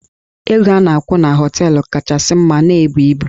Ego a na-akwụ na họteelụ kachasị mma na-ebu ibu.